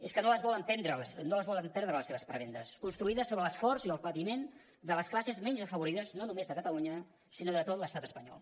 és que no les volen perdre les seves prebendes construïdes sobre l’esforç i el patiment de les classes menys afavorides no només de catalunya sinó de tot l’estat espanyol